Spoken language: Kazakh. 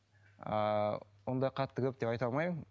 ыыы ондай қатты көп деп айта алмаймын